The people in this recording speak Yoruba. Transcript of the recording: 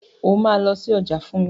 O máa lọ sí ọjà fún mi.